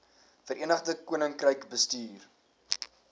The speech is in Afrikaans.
verenigde koninkryk bestuur